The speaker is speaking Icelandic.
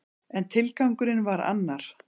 En tilgangurinn var annar.